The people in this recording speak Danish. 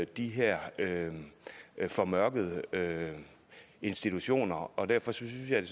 de her formørkede institutioner og derfor synes jeg